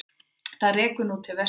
Það rekur nú til vesturs.